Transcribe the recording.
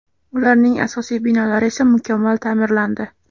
Ularning asosiy binolari esa mukammal ta’mirlandi.